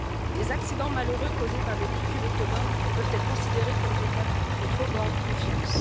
Les accidents malheureux causés par des véhicules autonomes peuvent être considérés comme des cas de trop grande confiance.